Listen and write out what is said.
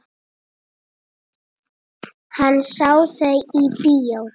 Hann sá þau í bíó.